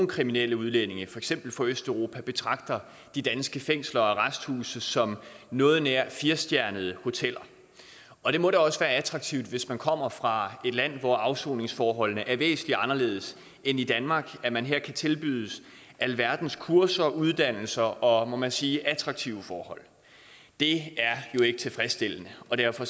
kriminelle udlændinge i for eksempel fra østeuropa betragter de danske fængsler og arresthuse som noget nær firestjernede hoteller og det må da også være attraktivt hvis man kommer fra et land hvor afsoningsforholdene er væsentlig anderledes end i danmark at man her kan tilbydes alverdens kurser uddannelse og må man sige attraktive forhold det er jo ikke tilfredsstillende og derfor